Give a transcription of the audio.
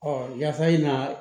yafa in na